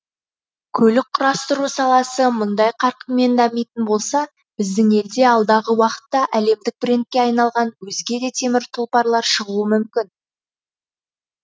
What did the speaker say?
көлік құрастыру саласы мұндай қарқынмен дамитын болса біздің елде алдағы уақытта әлемдік брендке айналған өзге де темір тұлпарлар шығуы мүмкін